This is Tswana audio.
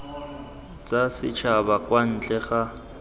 tsa setšhaba kwa ntle ga